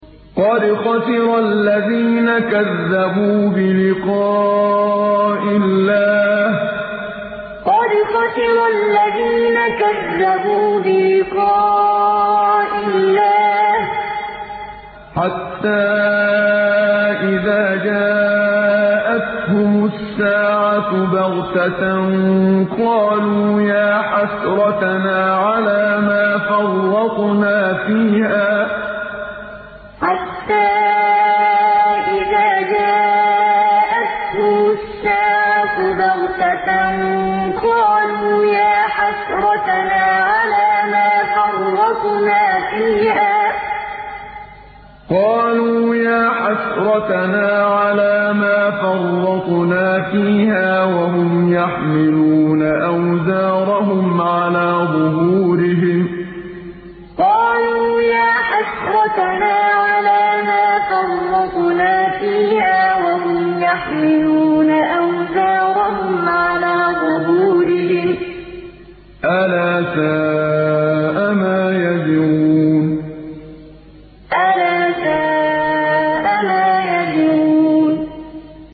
قَدْ خَسِرَ الَّذِينَ كَذَّبُوا بِلِقَاءِ اللَّهِ ۖ حَتَّىٰ إِذَا جَاءَتْهُمُ السَّاعَةُ بَغْتَةً قَالُوا يَا حَسْرَتَنَا عَلَىٰ مَا فَرَّطْنَا فِيهَا وَهُمْ يَحْمِلُونَ أَوْزَارَهُمْ عَلَىٰ ظُهُورِهِمْ ۚ أَلَا سَاءَ مَا يَزِرُونَ قَدْ خَسِرَ الَّذِينَ كَذَّبُوا بِلِقَاءِ اللَّهِ ۖ حَتَّىٰ إِذَا جَاءَتْهُمُ السَّاعَةُ بَغْتَةً قَالُوا يَا حَسْرَتَنَا عَلَىٰ مَا فَرَّطْنَا فِيهَا وَهُمْ يَحْمِلُونَ أَوْزَارَهُمْ عَلَىٰ ظُهُورِهِمْ ۚ أَلَا سَاءَ مَا يَزِرُونَ